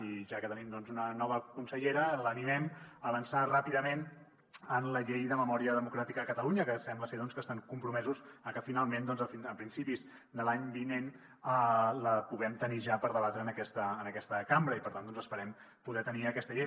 i ja que tenim doncs una nova consellera l’animem a avançar ràpidament en la llei de memòria democràtica de catalunya que sembla ser que estan compromesos a que finalment a principis de l’any vinent la puguem tenir ja per debatre en aquesta cambra i per tant esperem poder tenir aquesta llei